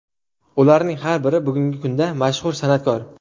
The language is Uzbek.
Ularning har biri bugungi kunda mashhur san’atkor.